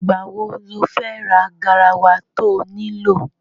Ìgbà wo lo fẹ́ ra garawa to nílò?